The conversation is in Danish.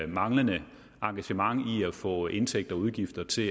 manglende engagement i at få indtægter og udgifter til